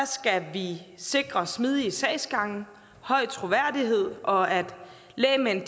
skal vi sikre smidige sagsgange høj troværdighed og at lægmænd